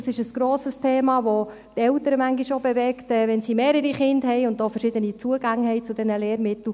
Dies ist ein grosses Thema, das manchmal auch die Eltern bewegt, wenn sie mehrere Kinder und auch verschiedene Zugänge zu diesen Lehrmitteln haben.